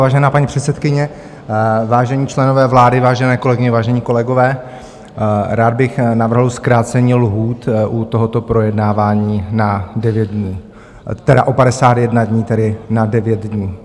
Vážená paní předsedkyně, vážení členové vlády, vážené kolegyně, vážení kolegové, rád bych navrhl zkrácení lhůt u tohoto projednávání na 9 dnů, tedy o 51 dnů, tedy na 9 dnů.